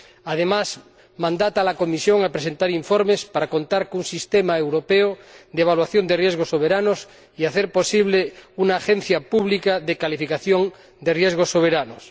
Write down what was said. Además, mandata a la Comisión a presentar informes para contar con un sistema europeo de evaluación de riesgos soberanos y hacer posible una agencia pública de calificación de riesgos soberanos.